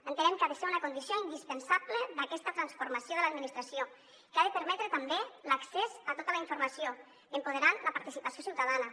entenem que ha de ser una condició indispensable d’aquesta transformació de l’administració que ha de permetre també l’accés a tota la informació empoderant la participació ciutadana